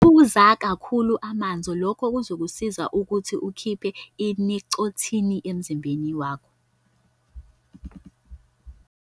Phuza kakhulu amanzi - lokhu kuzokusiza ukuthi ukhiphe i-nicotine emzimbeni wakho.